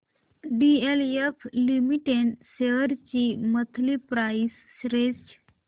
DLF limited shares ची monthly price range